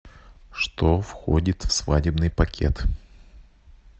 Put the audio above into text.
что входит в свадебный пакет